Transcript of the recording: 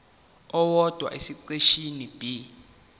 owodwa esiqeshini b